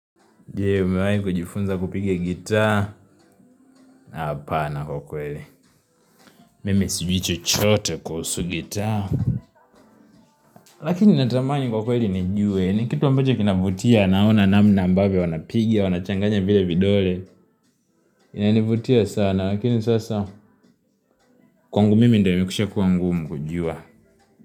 Je, umewahi kujifunza kupiga gitaa? Hapana kwa kweli. Mimi sijui chochote kuhusu gitaa. Lakini natamani kwa ukweli nijue. Ni kitu ambacho kinavutia, naona namna ambavyo wanapiga, wanachanganya vile vidole. Inanivutia sana, lakini sasa kwangu mimi ndio imekwisha kuwa ngumu kujua.